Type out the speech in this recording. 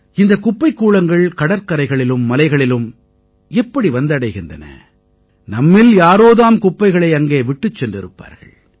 இந்தக் குப்பைக்கூளங்கள் கடற்கரைகளிலும் மலைகளிலும் எப்படி வந்தடைகின்றன நம்மில் யாரோ தாம் குப்பைகளை அங்கே விட்டுச் சென்றிருப்பார்கள்